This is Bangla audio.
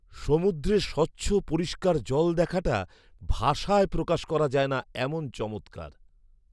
সমুদ্রে স্বচ্ছ পরিষ্কার জল দেখাটা ভাষায় প্রকাশ করা যায় না এমন চমৎকার!